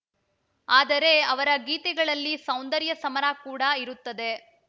ಆದರೆ ಅವರ ಗೀತೆಗಳಲ್ಲಿ ಸೌಂದರ್ಯ ಸಮರ ಕೂಡ ಇರುತ್ತದೆ